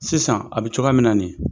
Sisan a bɛ cogoya min na nin ye.